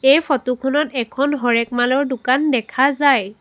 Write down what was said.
এই ফটো খনত এখন হৰেকমালৰ দোকান দেখা যায়।